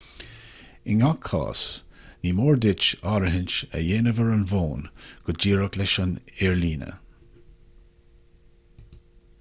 i ngach cás ní mór duit áirithint a dhéanamh ar an bhfón go díreach leis an aerlíne